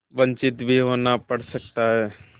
वंचित भी होना पड़ सकता है